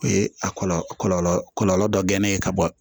O ye a kɔlɔlɔ dɔ gɛnɛ ye ka bɔ